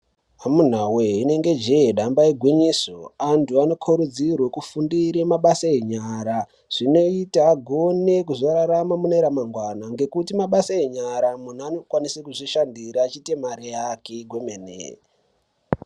Amuna wee inenge jee damba igwinyiso antu anokhorudzirwe kufundire mabasa enyara zvinoita kuti agone kuzorarama mune ramangwana ngekuti nemabasa enyara munhu anokwanisa kuzvishandira achiite mari yake kwemene.